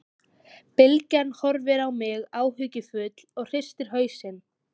Bylgja horfir á mig áhyggjufull og hristir hausinn.